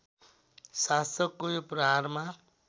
शासकको यो प्रहारमा